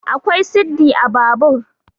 akwai siddi a Babur